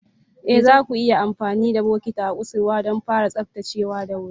Ee, zaku iya amfani da bokatin a kusurwa don fara tsaftacewa da sauri.